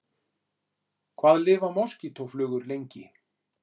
Hvað lifa moskítóflugur lengi?